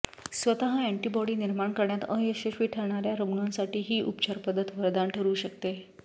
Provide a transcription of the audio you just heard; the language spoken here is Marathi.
स्वतः अँटीबॉडी निर्माण करण्यात अयशस्वी ठरणाऱ्या रुग्णांसाठी ही उपचार पद्धत वरदान ठरू शकते